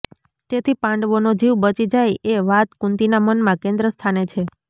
તેથી પાંડવોનો જીવ બચી જાય એ વાત કુંતીના મનમાં કેન્દ્રસ્થાને છે